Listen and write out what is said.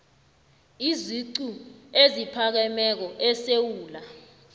iziqu eziphakemeko esewula